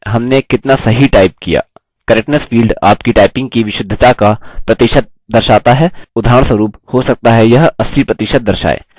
correctness field आपकी typing की विशुद्धता का प्रतिशत दर्शाता है उदाहरणस्वरुप हो सकता है यह 80 प्रतिशत दर्शाए